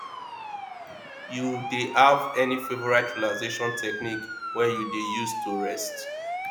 you dey have any favorite relaxation technique wey you dey use to rest